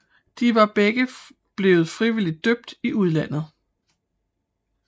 De var begge blevet frivilligt døbt i udlandet